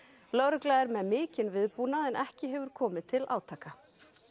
lögregla er með mikinn viðbúnað en ekki hefur komið til átaka